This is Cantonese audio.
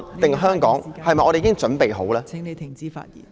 還是香港，我們是否已經準備好呢？